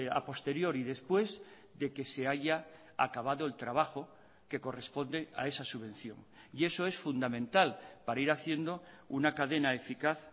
a posteriori después de que se haya acabado el trabajo que corresponde a esa subvención y eso es fundamental para ir haciendo una cadena eficaz